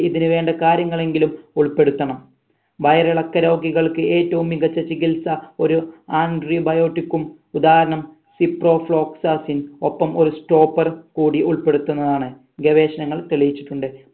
ഇതിനുവേണ്ട കാര്യങ്ങലെങ്കിലും ഉൾപ്പെടുത്തണം വയറിളക്ക രോഗികൾക്ക് ഏറ്റവും മികച്ച ചികിത്സ ഒരു antibiotic ഉം ഉദാഹരണം ഒപ്പം ഒരു stopper കൂടി ഉൾപെടുത്തുന്നതാണ് ഗവേഷണങ്ങൾ തെളിയിച്ചിട്ടുണ്ട്